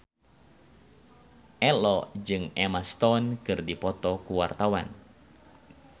Ello jeung Emma Stone keur dipoto ku wartawan